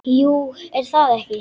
Jú, er það ekki?